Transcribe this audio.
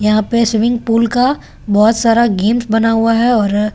यहाँ पे swimming pool का बहुत सारा गेम्स बना हुआ है और--